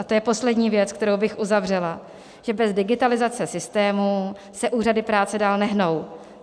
A to je poslední věc, kterou bych uzavřela, že bez digitalizace systémů se úřady práce dál nehnout.